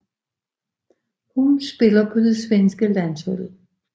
Hun spiller på det svenske landshold